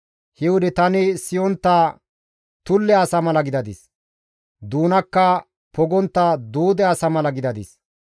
He wode tani siyontta tulle asa mala gidadis; doonakka pogontta duude asa mala gidadis.